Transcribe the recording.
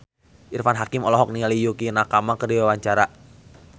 Irfan Hakim olohok ningali Yukie Nakama keur diwawancara